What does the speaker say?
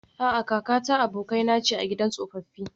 A'a, kakata abokaina ce a gidan tsofaffi